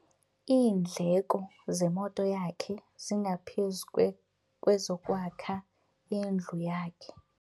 Iindleko zemoto yakhe zingaphezu kwezokwakha indlu yakhe.